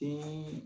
Den